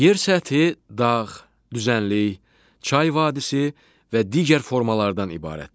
Yer səthi dağ, düzənlik, çay vadisi və digər formalardan ibarətdir.